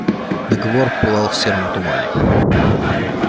договор пылал в сером тумане